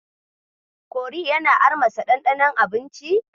Kori yana armasa ɗanɗanon abinci.